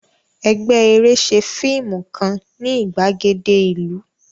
Ẹgbẹ́ eré ṣe fíìmù kan ní ìgbàgede ìlú